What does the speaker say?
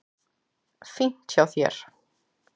Fínt hjá þér.